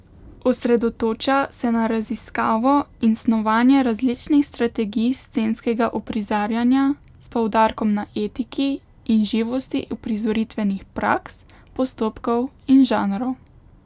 Osredotoča se na raziskavo in snovanje različnih strategij scenskega uprizarjanja, s poudarkom na etiki in živosti uprizoritvenih praks, postopkov in žanrov.